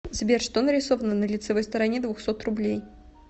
сбер что нарисовано на лицевой стороне двухсот рублей